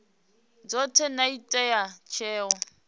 dzothe na u ita tsheo